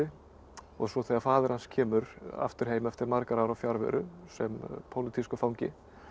og svo þegar faðir hans kemur aftur heim eftir margra ára fjarveru sem pólitískur fangi